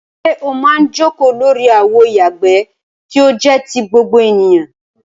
Ṣé o máa ń jókòó lórí àwo ìyàgbẹ́ tí ó jẹ́ ti gbogbo ènìyàn?